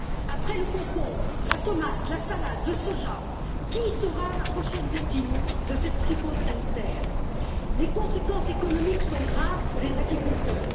Après le concombre, la tomate, la salade, le soja, quelle sera la prochaine victime de cette psychose sanitaire? Les conséquences économiques sont graves pour les agriculteurs.